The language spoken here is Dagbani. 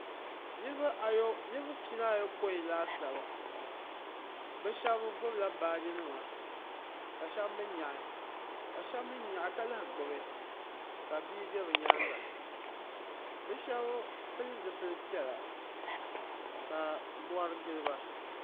Niribi pia ni ayopɔin laasabu bi shɛba gbubi la baaji nima ka ahɛba mi yɛɣi ka shɛba mi yɛɣi ka lahi gbubi ka bia bɛ bi yɛanga bi ahɛba pili zipili piɛlla ka mori gili ba.